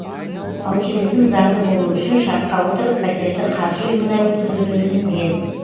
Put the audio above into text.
ал келісім заңды болуы үшін шартқа отырып пәтерді қаржы ұйымына өткізуді өтінген